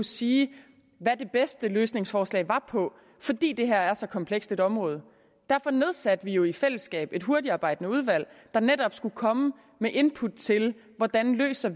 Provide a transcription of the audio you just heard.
sige hvad de bedste løsningsforslag er på fordi det her er så komplekst et område derfor nedsatte vi jo i fællesskab et hurtigtarbejdende udvalg der netop skulle komme med input til hvordan vi løser